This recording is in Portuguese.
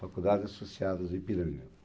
Faculdade Associadas do Ipiranga.